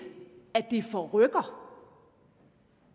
at det forrykker